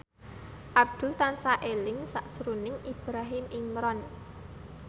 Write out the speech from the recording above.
Abdul tansah eling sakjroning Ibrahim Imran